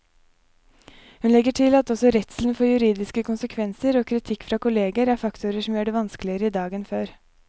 Hun legger til at også redselen for juridiske konsekvenser og kritikk fra kolleger er faktorer som gjør det vanskeligere i dag enn før.